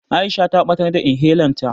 Aisha ta ɓatar da inhelan ta.